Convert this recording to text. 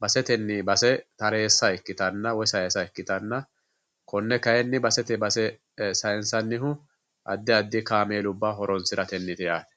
basetenni base taressa ikkittanna woyi sayisa ikkittanna kone kayinni basete base sayinsannihu addi addi kaameelubba horonsirateniti yaate.